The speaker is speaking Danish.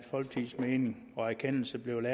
folkepartis mening og erkendelse blev